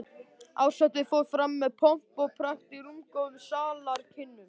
Árshátíðin fór fram með pomp og prakt í rúmgóðum salarkynnum